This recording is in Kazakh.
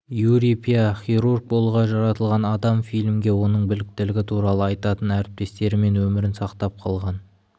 юрий пя хирург болуға жаратылған адам фильмге оның біліктілігі туралы айтатын әріптестері мен өмірін сақтап қалған